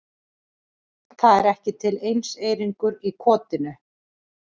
Það er ekki til einseyringur í kotinu.